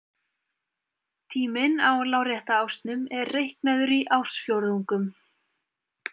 Tíminn á lárétta ásnum er reiknaður í ársfjórðungum.